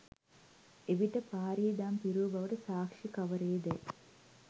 එවිට පාරී දම් පිරූ බවට සාක්ෂි කවරේදැයි